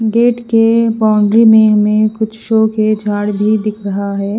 Gate के boundary में हमें कुछ शो के झाड़ भी दिख रहा है।